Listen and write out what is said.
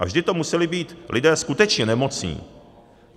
A vždy to museli být lidé skutečně nemocní.